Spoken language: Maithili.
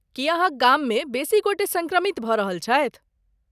की अहाँक गाममे बेसी गोटे सङ्क्रमित भऽ रहल छथि?